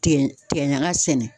Tigɛ tigɛ ɲaga sɛnɛ